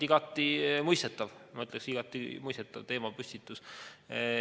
Kõigepealt ma ütleksin, et see on igati mõistetav teemapüstitus.